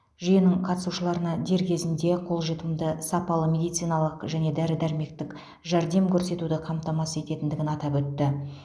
жүйенің қатысушыларына дер кезінде қолжетімді сапалы медициналық және дәрі дәрмектік жәрдем көрсетуді қамтамасыз ететіндігін атап өтті